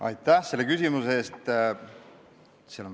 Aitäh selle küsimuse eest!